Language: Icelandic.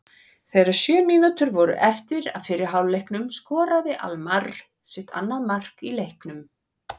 Þegar sjö mínútur voru eftir af fyrri hálfleiknum skoraði Almarr sitt annað mark í leiknum.